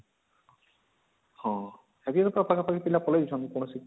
ହଁ ପିଲା ପାଖା ପାଖି ପଳେଇ ଯାଉଛନ